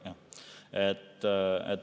Jah.